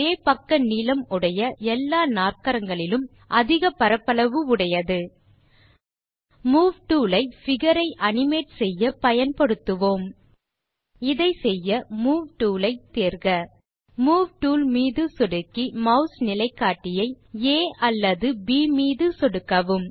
ஒரே பக்க நீளம் உடைய எல்லா நாற்கரங்களிலும் அதிக பரப்பளவு உடையது மூவ் டூல் ஐ பிகர் ஐ அனிமேட் செய்ய பயன்படுத்துவோம் இதை செய்ய மூவ் டூல் ஐ டூல் பார் இலிருந்து தேர்க மூவ் டூல் மீது சொடுக்கி மாஸ் நிலைக்காட்டியை ஆ அல்லது ப் மீது சொடுக்கவும்